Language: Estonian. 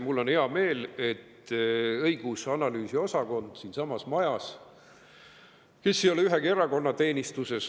Mul on hea meel, et siinsamas majas olev õigus‑ ja analüüsiosakond ei ole ühegi erakonna teenistuses.